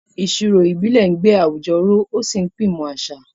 Ìṣirò ìbílẹ̀ ń gbé àwùjọ ró ó sì pín ìmọ̀ àṣà.